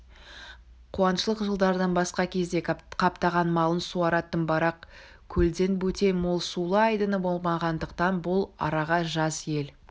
қуаңшылық жылдардан басқа кезде қаптаған малын суаратын барақ көлден бөтен мол сулы айдыны болмағандықтан бұл араға жаз ел